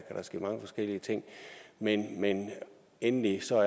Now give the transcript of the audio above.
der ske mange forskellige ting men endelig